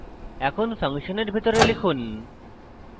এখন ফাংশনের ভিতরে লিখুন